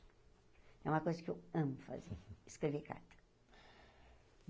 É uma coisa que eu amo fazer, escrever carta.